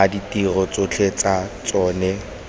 a ditiro tsotlhe tsa tsona